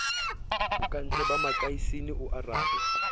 bokantle ba makasine o arabe